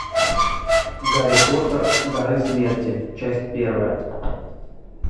гарри поттер дары смерти часть первая